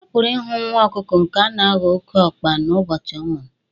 A pụrụ ịhụ nwa ọkụkọ nke ga-aghọ oké ọkpa n'ụbọchị ọ mụrụ